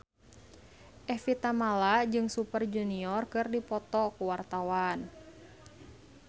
Evie Tamala jeung Super Junior keur dipoto ku wartawan